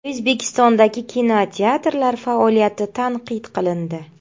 O‘zbekistondagi kinoteatrlar faoliyati tanqid qilindi.